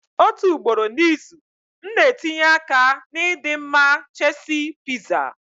Otu ugboro n'izu, m na-etinye aka na ịdị mma cheesy pizza.